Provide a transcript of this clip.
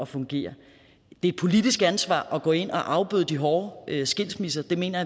fungere det er et politisk ansvar at gå ind og afbøde de hårde skilsmisser det mener